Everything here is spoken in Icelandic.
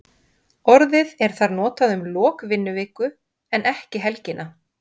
Orðið er þar notað um lok vinnuviku en ekki helgina.